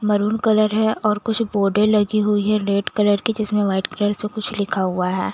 Maroon colour है और कुछ बॉर्डर लगी हुई है रेड कलर की जिसमे वाइट कलर से कुछ लिखा हुआ है।